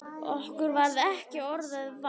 Okkur varð ekki orða vant.